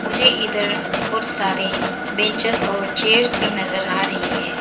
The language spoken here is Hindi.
मुझे इधर बहुत सारे बेंचेस और चेयर्स भी नजर आ रही है।